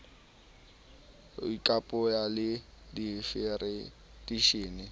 d ho ikopanya le difedereishene